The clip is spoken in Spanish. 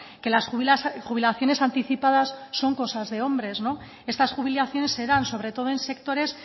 que las jubilaciones anticipadas son cosas de hombre estas jubilaciones se dan sobre todo en sectores